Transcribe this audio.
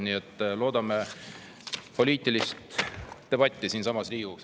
Nii et loodame poliitilist debatti siinsamas Riigikogus.